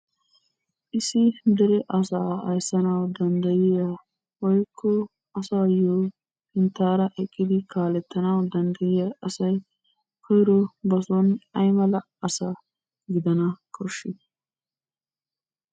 Issi dere asaa ayssanawu danddayiyaa woyikko asaayyo sinttaara eqqidi kaalettanawu danddayiyaa asay koyiro basoon aymala asa gidana koshshii?